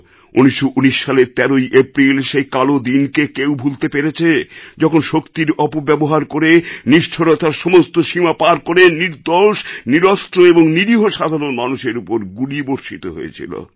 ১৯১৯ সালের ১৩ এপ্রিল সেই কালোদিনকে কেউ ভুলতে পেরেছে যখন শক্তির অপব্যবহার করে নিষ্ঠুরতার সমস্ত সীমা পার করে নির্দোষ নিরস্ত্র এবং নিরীহ সাধারণ মানুষের উপর গুলি বর্ষিত হয়েছিল